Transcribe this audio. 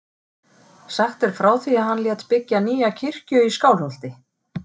Sagt er frá því að hann lét byggja nýja kirkju í Skálholti.